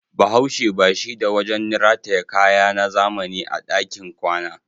Bahaushe ba shi da wajen rataye kaya na zamani a dakin kwana.